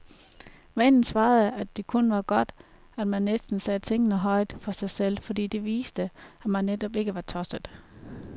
Vennen svarede, at det kun var godt, at man næsten sagde tingene højt for sig selv, fordi det viste, at man netop ikke var tosset.